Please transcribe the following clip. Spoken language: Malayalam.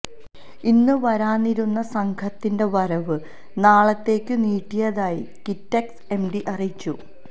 ഇന്നു വരാനിരുന്ന സംഘത്തിന്റെ വരവ് നാളത്തേയ്ക്കു നീട്ടിയതായി കിറ്റെക്സ് എംഡി അറിയിച്ചു